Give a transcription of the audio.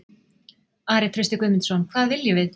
Ari Trausti Guðmundsson: Hvað viljum við?